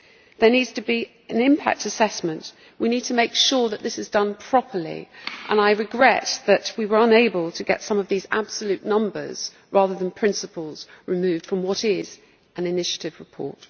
There needs to be an impact assessment we need to make sure that this is done properly and I regret that we were unable to get some of these absolute numbers, rather than principles, removed from what is an own initiative report.